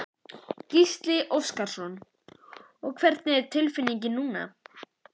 Gísli Óskarsson: Og hvernig er tilfinningin núna?